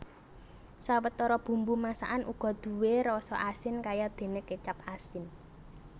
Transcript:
Sawetara bumbu masakan uga duwé rasa asin kayadéné kécap asin